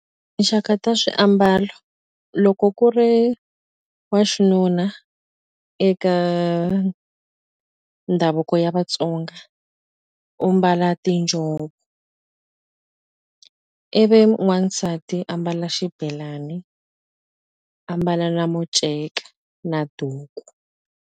Tinxaka ta swiambalo loko ku ri wa xinuna eka ndhavuko ya Vatsonga u mbala tinjhovo ivi n'wansati ambala xibelani ambala na muceka na duku.